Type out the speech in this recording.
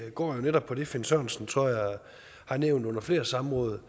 går jo netop på det finn sørensen har nævnt under flere samråd